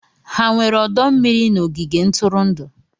Ha nwere ọdọ mmiri n'ogige ntụrụndụ?